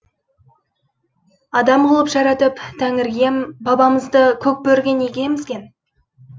адам қылып жаратып тәңір иембабамызды көк бөріге неге емізген